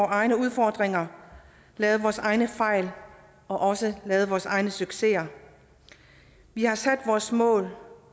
egne udfordringer lavet vores egne fejl og også lavet vores egen succeser vi har sat vores mål